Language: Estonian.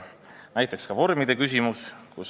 Näiteks, vormide küsimus.